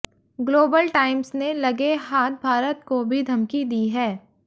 global Times ने लगे हाथ भारत को भी धमकी दी है